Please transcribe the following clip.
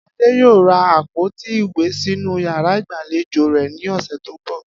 Adé yóò ra àpòtí ìwé sínú yàrá ìgbàlejò rè̩ ní ò̩sè̩ tó ń bò̩